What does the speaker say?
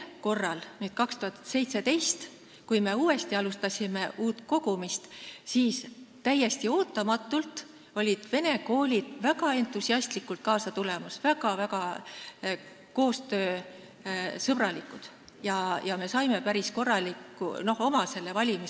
Aastal 2017, kui me uuesti kogumist alustasime, siis täiesti ootamatult tulid vene koolid väga entusiastlikult kaasa, nad olid väga-väga koostööaltid ja me saime kokku päris korraliku valimi.